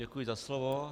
Děkuji za slovo.